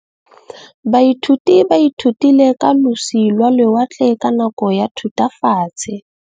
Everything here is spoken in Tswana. Baithuti ba ithutile ka losi lwa lewatle ka nako ya Thutafatshe.